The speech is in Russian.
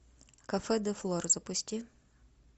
кафе де флор запусти